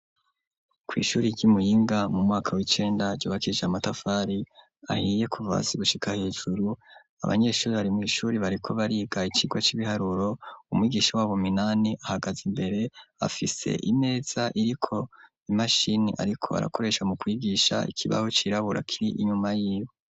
Kw' ishuri ry'iMuyinga mu mwaka w'icenda ry'ubakije amatafari ahiye, kuva hasi gushika hejuru, abanyeshuri bari mw' ishuri bariko bariga ikigwa c'ibiharuro ,umwigisha w'abo minani ahagaze imbere, afise imeza iriko imashini ariko arakoresha mu kwigisha ikibaho cirabura kiri inyuma y'iwe.